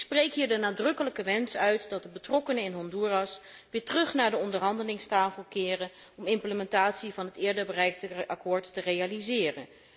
Ik spreek hier de nadrukkelijke wens uit dat de betrokkenen in Honduras weer terug naar de onderhandelingstafel keren om implementatie van het eerder bereikte akkoord te realiseren.